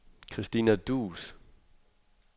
Christina Duus